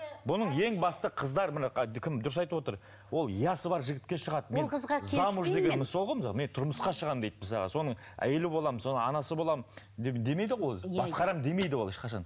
бұның ең басты қыздар мына ыыы кім дұрыс айтып отыр ол я сы бар жігітке шығады мен замуж деген сол ғой мысалы мен тұрмысқа шығамын дейді мысалға соның әйелі боламын соның анасы боламын демейді ғой басқарамын демейді ешқашан